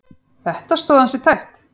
Þetta stóð ansi tæpt.